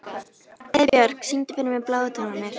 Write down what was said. Heiðbjörk, syngdu fyrir mig „Bláu tónarnir“.